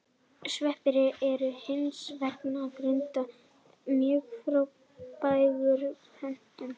Sveppir eru hins vegar í grundvallaratriðum mjög frábrugðnir plöntum.